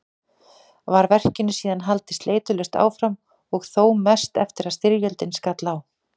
Var verkinu síðan haldið sleitulaust áfram og þó mest eftir að styrjöldin skall á.